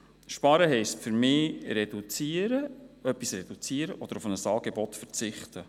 Sparen heisst für mich, etwas zu reduzieren oder auf ein Angebot zu verzichten.